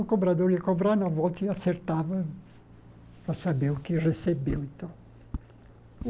O cobrador ia cobrar na volta e acertava para saber o que recebeu então.